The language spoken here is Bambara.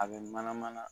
A bɛ mana mana